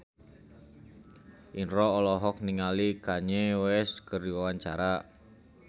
Indro olohok ningali Kanye West keur diwawancara